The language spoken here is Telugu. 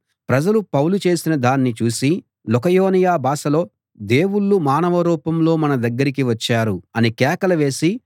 ప్రజలు పౌలు చేసిన దాన్ని చూసి లుకయోనియ భాషలో దేవుళ్ళు మానవ రూపంలో మన దగ్గరికి వచ్చారు అని కేకలు వేసి